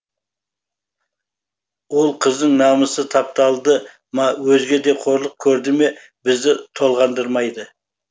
ол қыздың намысы тапталды ма өзге де қорлық көрді ме бізді толғандырмайды